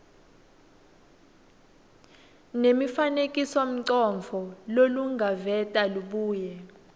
nemifanekisomcondvo lolungaveta lubuye